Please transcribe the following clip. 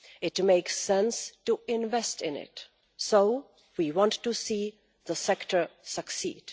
It makes sense to invest in it, so we want to see the sector succeed.